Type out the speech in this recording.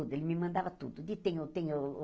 Ele me mandava tudo. De tenho tenho